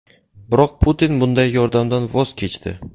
Biroq Putin bunday yordamdan voz kechdi.